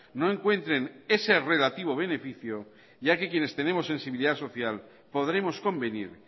no encuentren ese relativo beneficio ya que quienes tenemos sensibilidad social podremos convenir